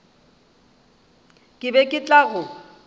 ke be ke tla go